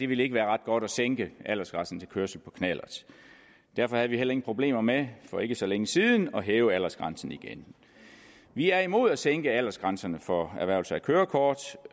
ville være ret godt at sænke aldersgrænsen for kørsel på knallert derfor havde vi heller ingen problemer med for ikke så længe siden at hæve aldersgrænsen igen vi er imod at sænke aldersgrænserne for erhvervelse af kørekort